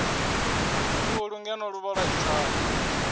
khulu ngeno luvhola i thavha